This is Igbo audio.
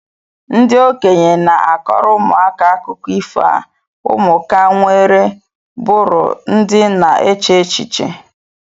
Ndi okenye na-akọrọ ụmụaka akụkọ ifo a ụmụka nwere bụrụ ndị na-eche echiche